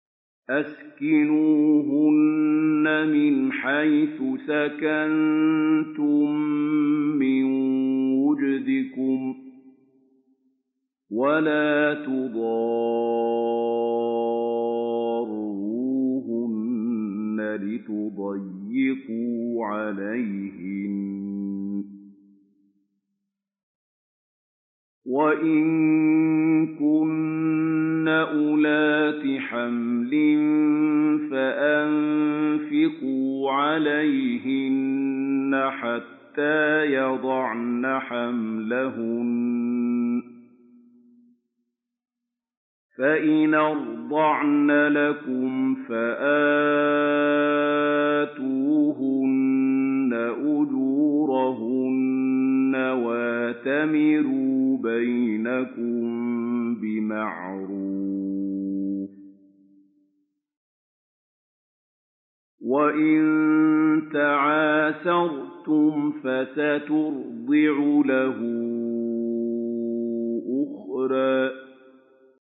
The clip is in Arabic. أَسْكِنُوهُنَّ مِنْ حَيْثُ سَكَنتُم مِّن وُجْدِكُمْ وَلَا تُضَارُّوهُنَّ لِتُضَيِّقُوا عَلَيْهِنَّ ۚ وَإِن كُنَّ أُولَاتِ حَمْلٍ فَأَنفِقُوا عَلَيْهِنَّ حَتَّىٰ يَضَعْنَ حَمْلَهُنَّ ۚ فَإِنْ أَرْضَعْنَ لَكُمْ فَآتُوهُنَّ أُجُورَهُنَّ ۖ وَأْتَمِرُوا بَيْنَكُم بِمَعْرُوفٍ ۖ وَإِن تَعَاسَرْتُمْ فَسَتُرْضِعُ لَهُ أُخْرَىٰ